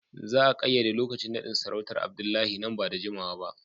Za a kayyade lokacin nadin sarautar Abdullahi nan ba da jimawa ba